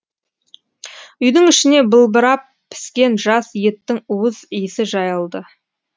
үйдің ішіне былбырап піскен жас еттің уыз иісі жайылды